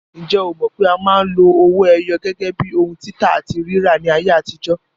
Ǹjẹ́ o mọ̀ pé a máa ń lo owó ẹyọ gẹ́gẹ́ bíi ohun títà àti rírà ní ayé àtijó?